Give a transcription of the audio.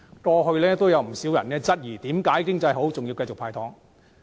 過去亦有人質疑，為何經濟向好仍然繼續"派糖"。